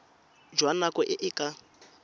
jwa nako e e ka